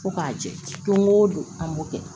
Ko k'a jɛ don go don an b'o kɛ